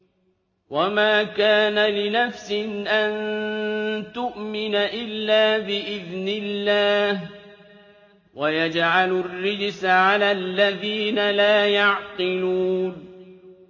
وَمَا كَانَ لِنَفْسٍ أَن تُؤْمِنَ إِلَّا بِإِذْنِ اللَّهِ ۚ وَيَجْعَلُ الرِّجْسَ عَلَى الَّذِينَ لَا يَعْقِلُونَ